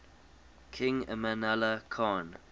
king amanullah khan